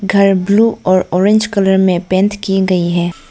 घर ब्लू और orange colour में पेंट की गई है।